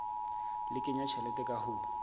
le kenya tjhelete ka ho